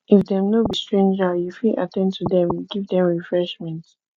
if dem no be stranger you fit at ten d to dem give dem refreshment